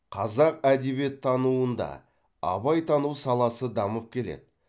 қазақ әдебиеттануында абайтану саласы дамып келеді